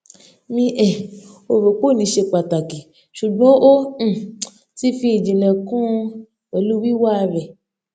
mi um ò rò pé òní ṣe pàtàkì ṣùgbọn o um ti fi ìjìnlẹ kún un pẹlú wíwà rẹ